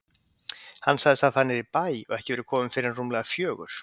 Hann sagðist hafa farið niður í bæ og ekki verið kominn fyrr en rúmlega fjögur.